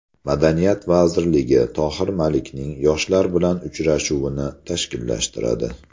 Madaniyat vazirligi Tohir Malikning yoshlar bilan uchrashuvini tashkillashtiradi.